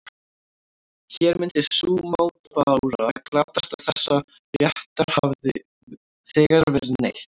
Hér myndi sú mótbára glatast að þessa réttar hefði þegar verið neytt.